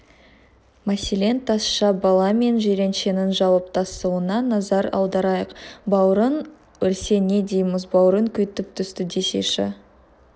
мәселен тазша бала мен жиреншенің жауаптасуына назар аударайық бауырың өлсе не дейміз бауырың күйіп түсті десейші